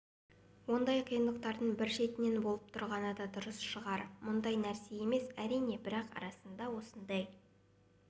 ондай қиындықтардың бір шетінен болып тұрғаны да дұрыс шығар мұндай нәрсе емес әрине бірақ арасында осындай